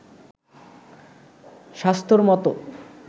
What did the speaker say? স্বাস্থ্যর মতো